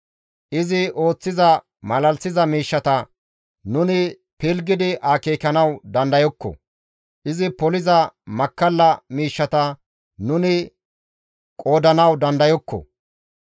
Izi ooththiza malalisiza miishshata nuni pilggidi akeekanawu dandayokko; izi poliza makkalla miishshata nuni qoodanawu dandayokko.